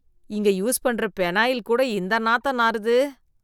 இங்க யூஸ் பண்ற பெனாயில் கூட இந்த நாத்தம் நாறுது.